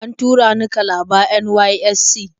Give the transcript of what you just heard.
An tura ni Kalaba NYSC.